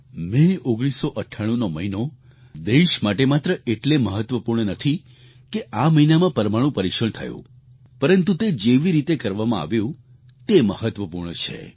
મે 1998નો મહિનો દેશ માટે માત્ર એટલે મહત્વપૂર્ણ નથી કે આ મહિનામાં પરમાણુ પરીક્ષણ થયું પરંતુ તે જેવી રીતે કરવામાં આવ્યું તે મહત્વપૂર્ણ છે